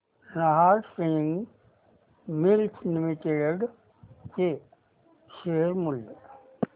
Nahar spinning mills limited चे share मूल्य